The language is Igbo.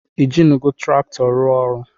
Ijinugo traktọ rụọ ọrụ.?